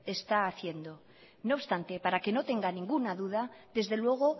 está haciendo no obstante para que no tenga ninguna duda desde luego